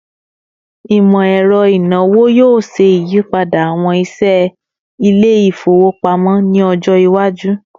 Imọ-ẹrọ inawo yoo ṣe iyipada awọn iṣẹ ile-ifowopamọ ni ọjọ iwaju